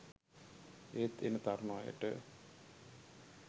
ඒත් එන තරුණ අයට